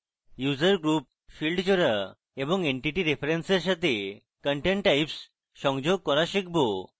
user group field জোড়া এবং entity reference এর সাথে content types সংযোগ করা শিখব